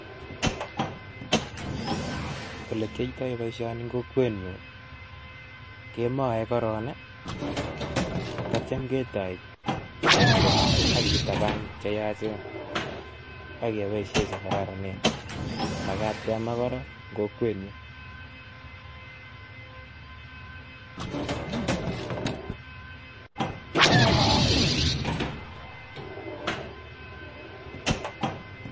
Olekiyoito boishoni en kokwenyun kemoe korong ii akityo ketoi kekwai AK kitaban cheyachen ak keboishen chekororonen, makaat kemaa korong en kokwenyun.